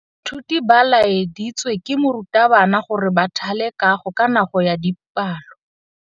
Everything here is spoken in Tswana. Baithuti ba laeditswe ke morutabana gore ba thale kagô ka nako ya dipalô.